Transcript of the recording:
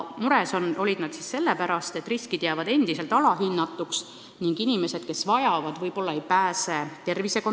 Nad olid mures sellepärast, et riskid jäävad endiselt alahinnatuks ning inimesed, kes vajavad tervisekontrolli, võib-olla ei pääse sinna.